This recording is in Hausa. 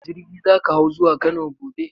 Jirgi za ka hau zuwa Kano gobe?